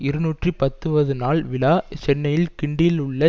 இருநூற்றி பத்துவது நாள் விழா சென்னை கிண்டியில் உள்ள